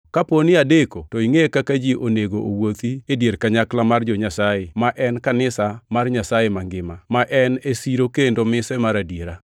kaponi adeko to ingʼe kaka ji onego owuothi e dier kanyakla mar jo-Nyasaye, ma en kanisa mar Nyasaye mangima, ma en e siro kendo mise mar adiera.